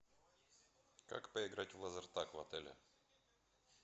как поиграть в лазертаг в отеле